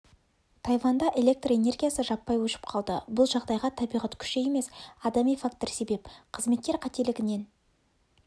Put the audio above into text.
тайванда электр энергиясы жаппай өшіп қалды бұл жағдайға табиғат күші емес адами фактор себеп қызметкер қателігінен